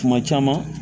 Kuma caman